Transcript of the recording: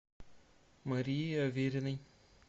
марии авериной